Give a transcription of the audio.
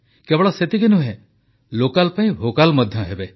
କେବଳ ସେତିକି ନୁହେଁ ଲୋକାଲ ପାଇଁ ଭୋକାଲ ମଧ୍ୟ ହେବେ